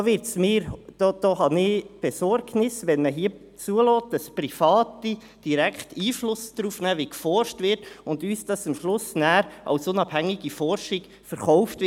Ich bin besorgt, wenn man hier zulässt, dass Private direkt Einfluss darauf nehmen, wie geforscht wird und uns das am Schluss als unabhängige Forschung verkauft wird.